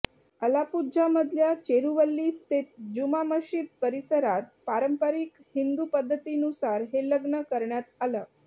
अलापुझ्झामधल्या चेरुवल्ली स्थित जुमा मशीद परिसरात पारंपरिक हिंदू पद्धतीनुसार हे लग्न करण्यात आलं